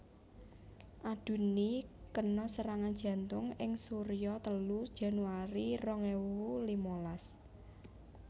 Adunni kena serangan jantung ing surya telu Januari rong ewu limalas